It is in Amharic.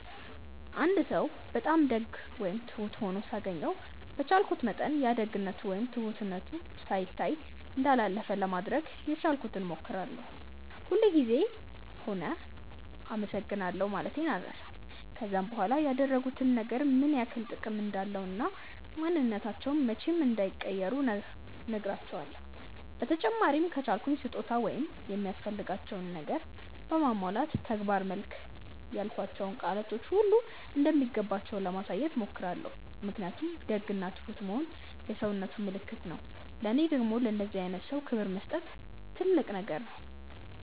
አንድ ሰው በጣም ደግ ወይም ትሁት ሆኖ ሳገኘው በቻልኩት መጠን ያ ደግነቱ ወይም ትሁትነቱ ሳይታይ እንዳላለፈ ለማድረግ የቻልኩትን ሞክራለው፤ ሁል ጉዘም ቢሆም አመሰግናለሁ ማለቴን አልረሳም፤ ከዛም በኋላ ያደረጉት ነገር ምን ያክል ጥቅም እንዳለው እና ማንንነታቸውን መቼም እንዳይቀይሩ ነህራቸውለው፤ በተጨማሪም ከቻልኩ በስጦታ ወይም የሚያስፈልጋቸውን ነገር በማሟላት በተግባር መልክ ያልኳቸው ቃላቶች ሁሉ እንደሚገባቸው ለማሳየት ሞክራለው ምክንያቱም ደግ እና ትሁት መሆን የሰውነት ምልክት ነው ለኔ ደግም ለእንደዚህ አይነት ሰው ክብር መስጠት ትልቅ ነገር ነው።